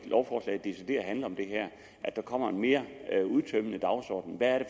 decideret handler om det her at der kommer en mere udtømmende dagsorden hvad er